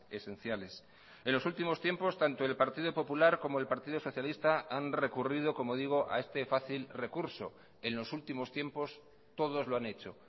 esenciales en los últimos tiempos tanto el partido popular como el partido socialista han recurrido como digo a este fácil recurso en los últimos tiempos todos lo han hecho